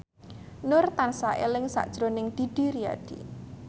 Nur tansah eling sakjroning Didi Riyadi